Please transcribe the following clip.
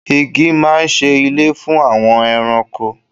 Igi máa ń ṣe ilé fún àwọn ẹranko.